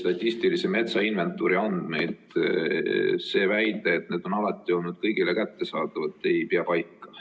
statistilise metsainventuuri andmeid, siis see väide, et need on alati olnud kõigile kättesaadavad, ei pea paika.